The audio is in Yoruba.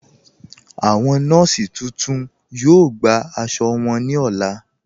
Awọn nọọ̀sí tuntun yọ̀ọ́ gbà àṣọ wọn ní ọlá.